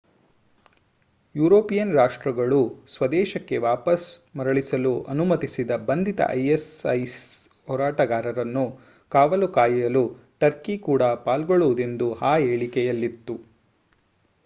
European ರಾಷ್ಟ್ರಗಳು ಸ್ವದೇಶಕ್ಕೆ ವಾಪಸ್ ಮರಳಿಸಲು ಅನುಮತಿಸದ ಬಂಧಿತ isis ಹೋರಾಟಗಾರನ್ನು ಕಾವಲು ಕಾಯಲು ಟರ್ಕಿ ಕೂಡ ಪಾಲ್ಗೊಳ್ಳುವುದೆಂದು ಆ ಹೇಳಿಕೆಯಲ್ಲಿತ್ತು